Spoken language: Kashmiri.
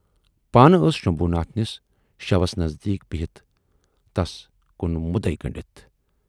پانہٕ ٲس شمبھوٗ ناتھنِس شَوس نٔزدیٖک بِہِتھ تَس کُن مُدعے گنڈِتھ۔